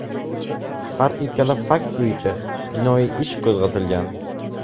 Har ikkala fakt bo‘yicha jinoiy ish qo‘zg‘atilgan.